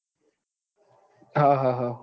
હા હા